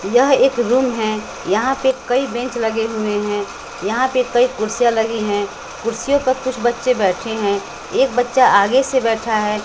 यह एक रूम है यहां पे कई बेंच लगे हुए हैं यहां पे कई कुर्सियां लगी हैं कुर्सियों पे कुछ बच्चे बैठे हैं एक बच्चा आगे से बैठा है।